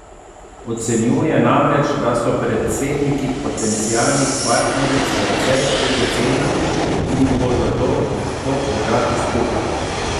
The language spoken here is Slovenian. Ocenjuje namreč, da so predsedniki potencialnih partneric precej egocentrični in jih bo zato težko držati skupaj.